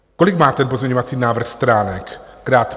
Kolik má ten pozměňovací návrh stránek?